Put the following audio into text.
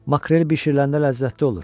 Makrel bişiriləndə ləzzətli olur.